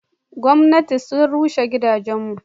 Gomnati sun rushe gidan mu.